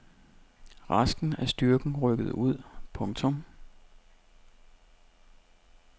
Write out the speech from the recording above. Resten af styrken rykkede ud. punktum